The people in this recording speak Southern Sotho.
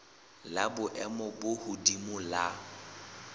la boemo bo hodimo la